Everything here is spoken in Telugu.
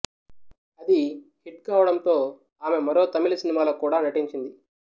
అది హిట్ కావడంతో ఆమె మరో తమిళ సినిమాలో కూడా నటించింది